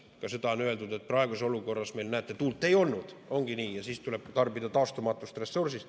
Ka seda on öeldud praeguses olukorras, et näete, meil tuult ei olnud, ongi nii, ja siis tuli tarbida taastumatut ressurssi.